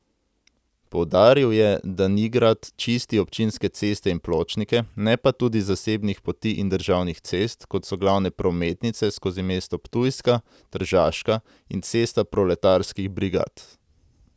Poudaril je, da Nigrad čisti občinske ceste in pločnike, ne pa tudi zasebnih poti in državnih cest, kot so glavne prometnice skozi mesto Ptujska, Tržaška in Cesta proletarskih brigad.